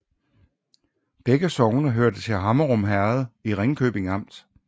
Begge sogne hørte til Hammerum Herred i Ringkøbing Amt